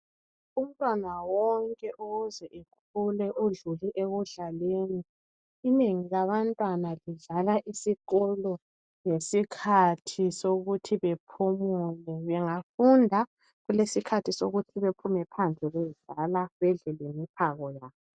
Umntwana wonke okuze ekhule udlule ekudlaleni. Inengi labantwana lidlala esikolo ngesikhathi sokuthi bephumule bengafunda kulesikhathi sokuthi bephume phandle beyedlala bedle lemiphako yabo.